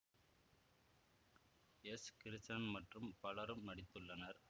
S Krishnan மற்றும் பலரும் நடித்துள்ளனர்